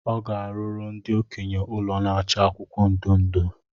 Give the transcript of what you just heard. Ọ ga- arụrụ ndi okenye ụlọ na-acha akwụkwọ ndụ ndụ